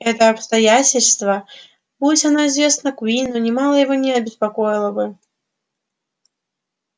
это обстоятельство будь оно известно куинну нимало его не обеспокоило бы